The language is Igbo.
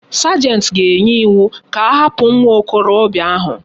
Sergeant ga enye iwu ka ahapu nwa okorobia ahu